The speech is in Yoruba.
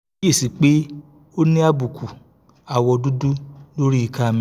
mo kíyè sí i pé ó ní àbùkù awọ́ dúdú lórí ika mi